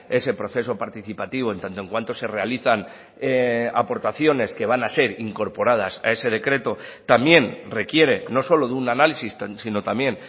ese proceso participativo en tanto en cuanto se realizan aportaciones que van a ser incorporadas a ese decreto también requiere no solo de un análisis sino también